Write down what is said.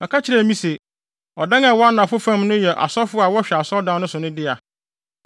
Ɔka kyerɛɛ me se, “Ɔdan a ɛwɔ anafo fam no yɛ asɔfo a wɔhwɛ asɔredan no so no dea,